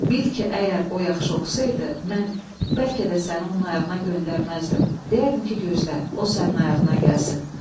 Bil ki, əgər o yaxşı oxusaydı, mən bəlkə də səni onun ayağına göndərməzdim, deyərdim ki, gözlə, o sənin ayağına gəlsin.